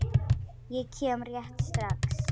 Ég kem rétt strax.